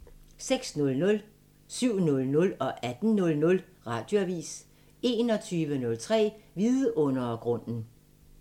06:00: Radioavisen 07:00: Radioavisen 18:00: Radioavisen 21:03: Vidundergrunden